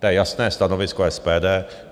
To je jasné stanovisko SPD.